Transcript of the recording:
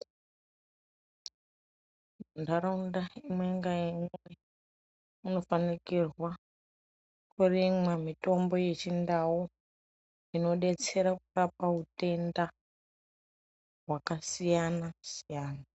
Ntaraunda imwe ngaimwe inofanikirwa kurimwa mitombo wechindau inodetsera kurapa utenda hwakasiyana siyana.